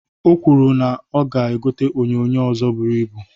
O kwuru na ya ga-egota onyoonyoo ọzọ buru ibu.